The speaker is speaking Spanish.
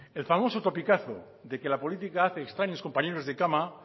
el famoso topicazo de que la política hace extraños compañeros de cama